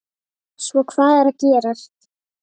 Svo hvað er að gerast?